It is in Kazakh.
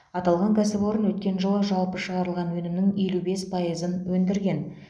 аталған кәсіпорын өткен жылы жалпы шығарылған өнімнің елу бес пайызын өндірген